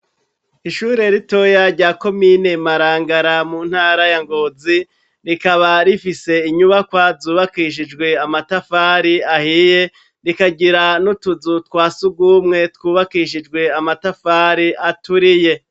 Ishure ritoya rya komine Marangara mu ntara ya Ngozi, rikaba rifise inyubakwa zubakishijwe amatafari ahiye, rikagira n'utuzu twa surwumwe twubakishijwe amatafari aturiye.